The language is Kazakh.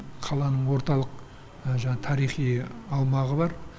қаланың орталық жаңағы тарихи аумағы бар